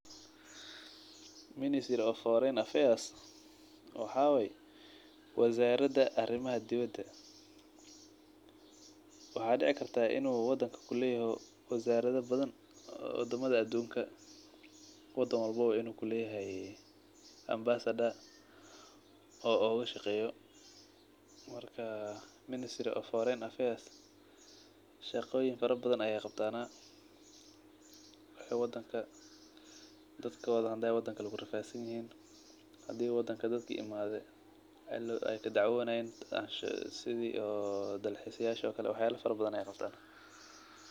Ministry of foreign affairs waxa way wazarada arimaha dibada. waxaa dici kartaa in uu wadanka kuleyaho wazarada badhan wadamadha adunka , wadan walbo in uu kuleyahay ambassador oo ogashaqeyo marka ministry of forwign affairs shaqoyin badhan ay qabtanah. Dadkodha haday wadan kale kurafadsanyihin , hadi wadanka dadka imade ay kadacwonayan isdha oo dalxisyasha oo kale waxyala fara badhan ay qabtana.